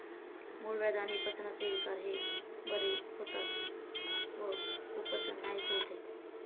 मूळव्याध आणि पचनाचे विकार बरे होतात व कुपचन नाहीसे होते.